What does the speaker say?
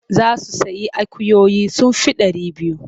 Za su sayi akuyoyi sun fi ɗari biyu.